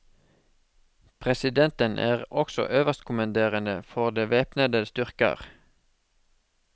Presidenten er også øverstkommanderende for de væpnede styrker.